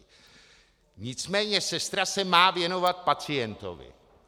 Nicméně sestra se má věnovat pacientovi.